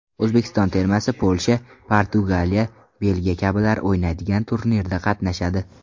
O‘zbekiston termasi Polsha, Portugaliya, Belgiya kabilar o‘ynaydigan turnirda qatnashadi.